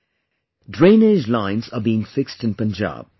The drainage lines are being fixed in Punjab